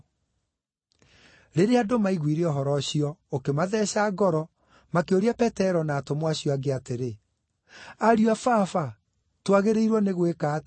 Rĩrĩa andũ maiguire ũhoro ũcio, ũkĩmatheeca ngoro, makĩũria Petero na atũmwo acio angĩ atĩrĩ, “Ariũ a Baba, twagĩrĩirwo nĩ gwĩka atĩa?”